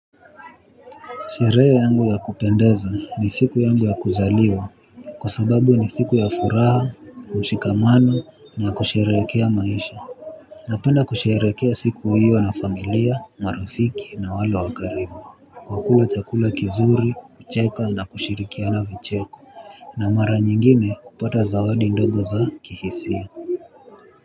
Sherehe yangu ya kupendeza ni siku yangu ya kuzaliwa. Kwa sababu ni siku ya furaha, mshikamano na kusherehekea maisha. Napenda kusherekea siku hiyo na familia, marafiki na wale wakaribu kwa kula chakula kizuri, kucheka na kushirikiana vicheko. Na mara nyingine kupata za wadi ndogo za kihisia.